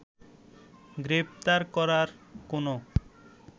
গ্রেফতার করার কোনো